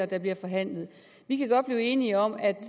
der bliver forhandlet vi kan godt blive enige om at